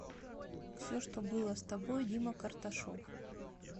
все что было с тобой дима карташов